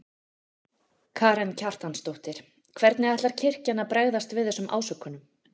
Karen Kjartansdóttir: Hvernig ætlar kirkjan að bregðast við þessum ásökunum?